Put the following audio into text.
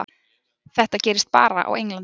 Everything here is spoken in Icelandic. Þetta gerist bara á Englandi.